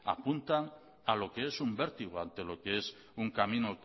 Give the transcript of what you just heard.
apuntan a lo que es un vértigo ante lo que es un camino